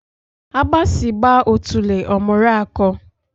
Agbasi gba otule omuru ako